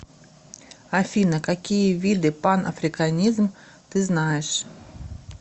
афина какие виды панафриканизм ты знаешь